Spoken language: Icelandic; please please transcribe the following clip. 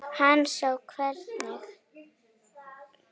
Hann sá hvernig